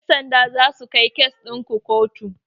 Ƴan sanda zasu kai kes ɗin ku kotu.